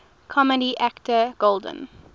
comedy actor golden